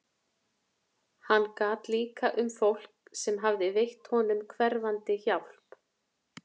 Hann gat líka um fólk sem hafði veitt honum hverfandi hjálp.